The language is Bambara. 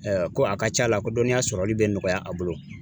Ɛɛ ko a ka c'a la ko dɔnniya sɔrɔli be nɔgɔya a bolo